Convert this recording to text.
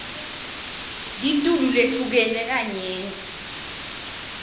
litulu lehlukene kanyenti